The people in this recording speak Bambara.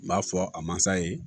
N b'a fɔ a masa ye